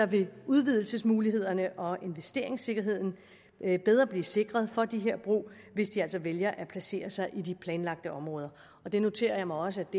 vil udvidelsesmulighederne og investeringssikkerheden bedre blive sikret for de her brug hvis de altså vælger at placere sig i de planlagte områder og det noterer jeg mig også at